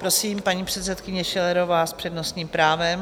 Prosím, paní předsedkyně Schillerová s přednostním právem.